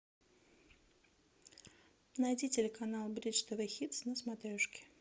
найди телеканал бридж тв хитс на смотрешке